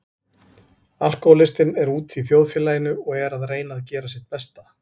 Alkohólistinn er úti í þjóðfélaginu og er að reyna að gera sitt besta.